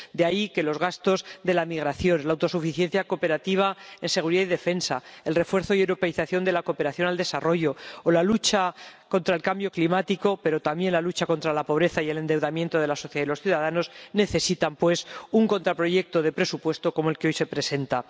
De ahí que los gastos de la migración, la autosuficiencia cooperativa en seguridad y defensa, el refuerzo y europeización de la cooperación al desarrollo o la lucha contra el cambio climático, pero también la lucha contra la pobreza y el endeudamiento de la sociedad y los ciudadanos, necesitan, pues, un contraproyecto de presupuesto como el que hoy se presenta.